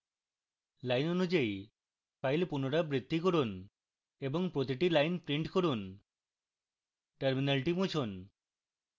lines অনুযায়ী file পুনরাবৃত্তি করুন এবং প্রতিটি lines print করুন